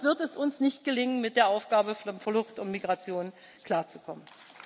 Sonst wird es uns nicht gelingen, mit der Aufgabe von Flucht und Migration klarzukommen.